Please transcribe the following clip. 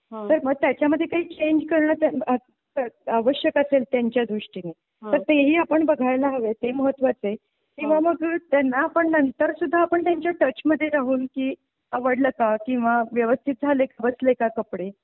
तर मग त्याच्या मध्ये काही चेंज करून त्यात आवश्यक असेल त्यांच्या दृष्टीने तर तेही आपण बघायला हवे ते महत्त्वाच आहे किंवा मग त्यांना पण नंतर सुद्धा आपण त्यांच्या टच मध्ये राहून की आवडलं का किंवा व्यवस्थित झाले बसले का कपडे?